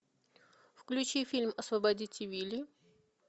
включи фильм освободите вилли